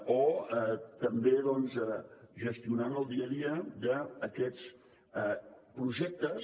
o també doncs gestionant el dia a dia d’aquests projectes